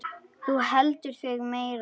Þú heldur þig meiri.